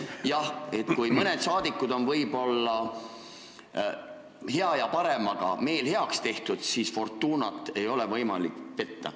Jah, kui mõnel saadikul on võib-olla hea ja paremaga meel leplikuks tehtud, siis fortuunat ei ole võimalik petta.